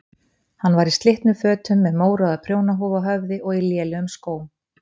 Hann var í slitnum fötum með mórauða prjónahúfu á höfði og í lélegum skóm.